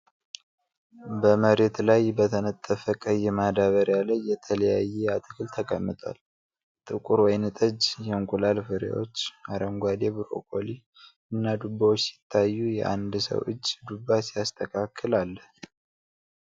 በመሬት ላይ በተነጠፈ ቀይ ማዳበሪያ ላይ የተለያየ አትክልት ተቀምጧል። ጥቁር ወይንጠጅ የእንቁላል ፍሬዎች፣ አረንጓዴ ብሮኮሊ እና ዱባዎች ሲታዩ፣ የአንድ ሰው እጅ ዱባ ሲያስተካክል አለ።